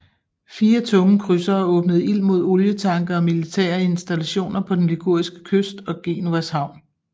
Fire tunge krydsere åbnede ild mod olietanke og militære installationer på den liguriske kyst og Genovas havn